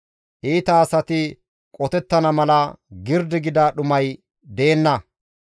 Iita asati qotettana mala girdi gida dhumay deenna.